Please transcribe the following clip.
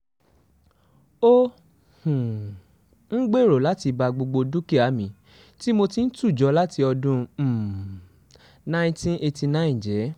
ó um ń gbèrò láti ba gbogbo dúkìá mi tí mo ti ń tù jọ láti ọdún um cs] nineteen eighty nine jẹ́